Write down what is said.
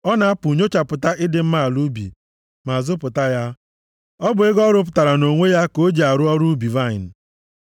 Ọ na-apụ nyochapụta ịdị mma ala ubi, ma zụpụta ya. Ọ bụ ego ọ rụpụtara nʼonwe ya ka o ji arụ ọrụ ubi vaịnị.